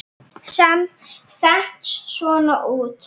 Sem þenst svona út